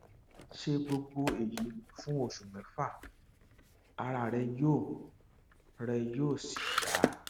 ṣe gbogbo èyí fún oṣù mẹfà ara rẹ yóò rẹ yóò sì yá